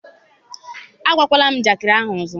agwakwala njakịrị ọzọ.